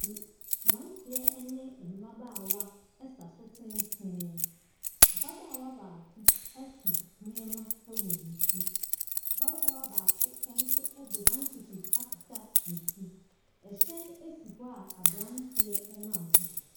Mmeranteɛ ne mmabaawa sa so tenten, ababaawa baako so nneɛma wɔ ne ti, ababaawa baako nso de handkerchief akata ne ti, hyɛn si hɔ a aberanteɛ nam ho.